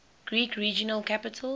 greek regional capitals